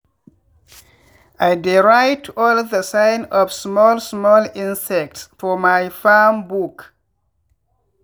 i dey write all the sign of small small insects for my farm book.